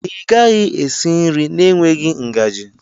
Ị gaghị esi nri na-enweghị ngaji.